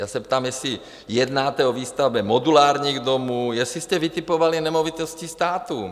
Já se ptám, jestli jednáte o výstavbě modulárních domů, jestli jste vytipovali nemovitosti státu.